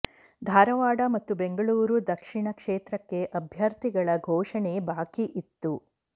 ಧಾರವಾಡ ಮತ್ತು ಬೆಂಗಳೂರು ದಕ್ಷಿಣ ಕ್ಷೇತ್ರಕ್ಕೆ ಅಭ್ಯರ್ಥಿಗಳ ಘೋಷಣೆ ಬಾಕಿ ಇತ್ತು